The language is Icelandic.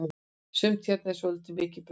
sumt hérna er svoltið mikið bull